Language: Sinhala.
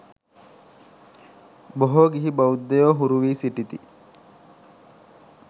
බොහෝ ගිහි බෞද්ධයෝ හුරු වී සිටිති.